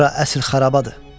Bura əsl xarabadır.